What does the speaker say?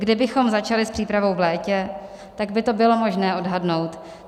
Kdybychom začali s přípravou v létě, tak by to bylo možné odhadnout.